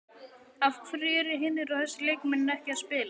Af hverju eru hinir og þessir leikmenn ekki að spila?